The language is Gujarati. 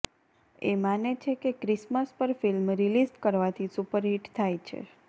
એ માને છે કે ક્રિસમસ પર ફિલ્મ રીલીઝ કરવાથી સુપરહિટ થાય છે